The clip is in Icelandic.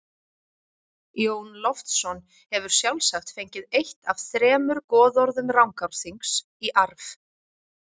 Jón Loftsson hefur sjálfsagt fengið eitt af þremur goðorðum Rangárþings í arf.